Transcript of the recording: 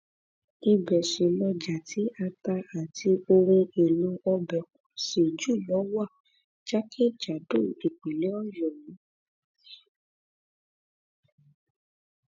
ibẹ sì lọjá tí ata àti ohun èèlò ọbẹ pọ sí jù lọ wà jákèjádò ìpínlẹ ọyọ